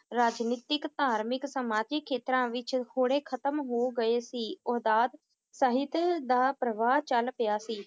ਰਾਜਨੀਤਿਕ, ਧਾਰਮਿਕ, ਸਮਾਜਿਕ ਖੇਤਰਾਂ ਵਿਚ ਹੋੜੇ ਖਤਮ ਹੋ ਗਏ ਸੀ ਸਹਿਤ ਦਾ ਪ੍ਰਵਾਹ ਚਲ ਪਿਆ ਸੀ